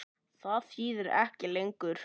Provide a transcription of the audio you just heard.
Það þýðir ekki lengur.